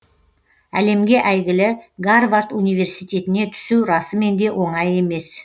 әлемге әйгілі гарвард университетіне түсу расымен де оңай емес